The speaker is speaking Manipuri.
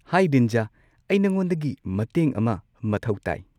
ꯍꯥꯏ ꯔꯤꯟꯖꯥ, ꯑꯩ ꯅꯉꯣꯟꯗꯒꯤ ꯃꯇꯦꯡ ꯑꯃ ꯃꯊꯧ ꯇꯥꯏ꯫